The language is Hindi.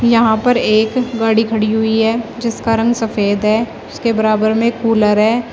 यहां पर एक गाड़ी खड़ी हुई है जिसका रंग सफेद है। उसके बराबर में एक कूलर है।